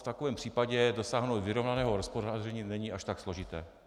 V takovém případě dosáhnout vyrovnaného hospodaření není až tak složité.